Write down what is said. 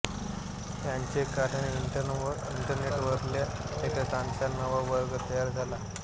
याचे कारण इंटरनेटवरल्या लेखकांचा नवा वर्ग तयार झाला